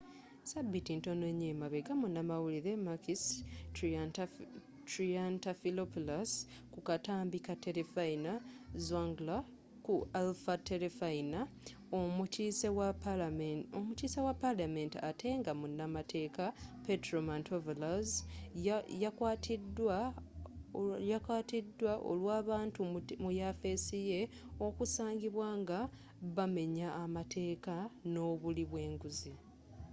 ssabiiti ntono emabega munamawulire makis triantafylopulous ku katambi ka terefayina zoungla” ku alpha terefayina omukiise wa palamenti ate nga munamateeka petros mantouvalos yakwatiidwa olw’abantu mu yafeesi ye okusangibwa nga bamenya amateeka nobuli bwenguzi